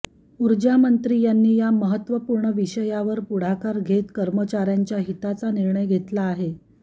ऊर्जामंत्री यांनी या महत्वपूर्ण विषयावर पुढाकार घेत कर्मचाऱ्यांच्या हिताचा निर्णय घेतला आहे